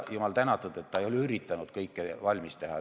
Jumal tänatud, et ta ei ole üritanud kõike valmis teha.